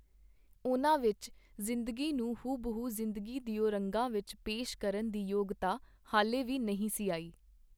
ਉਹਨਾਂ ਵਿਚ ਜ਼ਿੰਦਗੀ ਨੂੰ ਹੂਬਹੂ ਜ਼ਿੰਦਗੀ ਦਿਓ ਰੰਗਾਂ ਵਿਚ ਪੇਸ਼ ਕਰਨ ਦੀ ਯੋਗਤਾ ਹਾਲੇ ਵੀ ਨਹੀਂ ਸੀ ਆਈ.